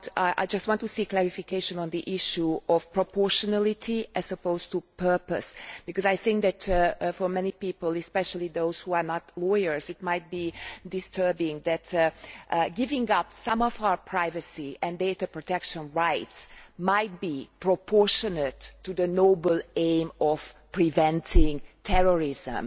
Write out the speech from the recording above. I just want to seek clarification on the issue of proportionality as opposed to purpose, because I think that for many people especially those who are not lawyers it might be disturbing to think that giving up some of our privacy and data protection rights might be proportionate to the noble aim of preventing terrorism.